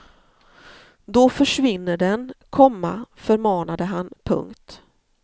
Då försvinner den, komma förmanade han. punkt